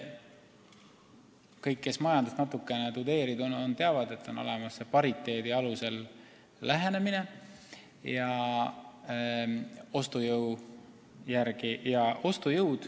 Kõik, kes majandust natukene tudeerinud on, teavad, et on olemas pariteedi alusel lähenemine ostujõu järgi.